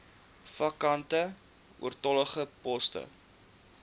vakante oortollige poste